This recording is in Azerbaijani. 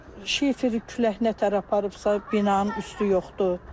Şiferi külək nə tər aparıbsa, binanın üstü yoxdur.